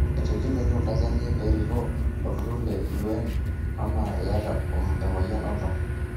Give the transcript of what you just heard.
Etegeluaki oltanzaniai perikoo olturur le UN ama iyata emoyian oltau?